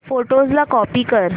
photos ला copy कर